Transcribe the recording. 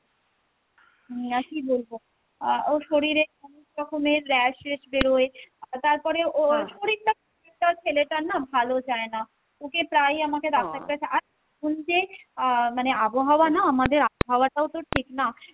আহ কী বলবো আহ ওর শরীরে অনেক রকমের rashes বেরোই আহ তারপরে ওর ছেলেটার না ভালো যাই না, ওকে প্রায় আমাকে ডাক্তারের কাছে আহ মানে আবহাওয়া না আমাদের আবহাওয়াটাও তো ঠিক না,